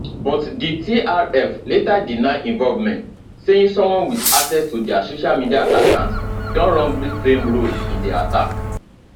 but di trf later deny involvement saying someone wit access to dia social media account don wrongly claim role in di attack